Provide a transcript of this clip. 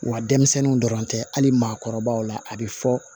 Wa denmisɛnninw dɔrɔn tɛ hali maakɔrɔbaw la a bɛ fɔ